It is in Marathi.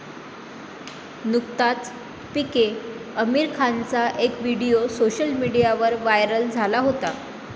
नुकताच पीके आमिर खानचा एक व्हिडीओ सोशल मीडियावर व्हायरल झाला होता.